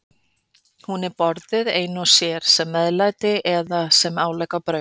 Hún er borðuð ein og sér, sem meðlæti eða sem álegg á brauð.